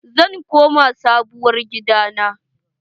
Zan koma Sabuwar gida na.